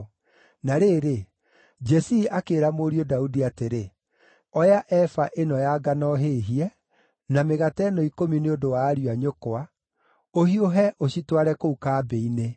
Na rĩrĩ, Jesii akĩĩra mũriũ Daudi atĩrĩ, “Oya eba ĩno ya ngano hĩhie, na mĩgate ĩno ikũmi nĩ ũndũ wa ariũ a nyũkwa, ũhiũhe ũcitware kũu kambĩ-inĩ.